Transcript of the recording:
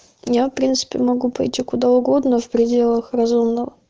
я в принципе могу пойти куда угодно в пределах разумного